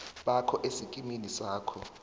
bakho esikimini sakho